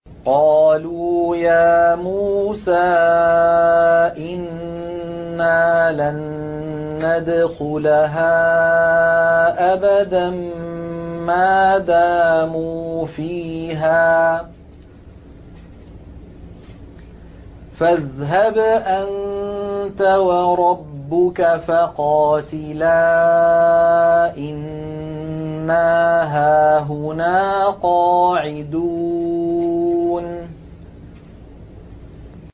قَالُوا يَا مُوسَىٰ إِنَّا لَن نَّدْخُلَهَا أَبَدًا مَّا دَامُوا فِيهَا ۖ فَاذْهَبْ أَنتَ وَرَبُّكَ فَقَاتِلَا إِنَّا هَاهُنَا قَاعِدُونَ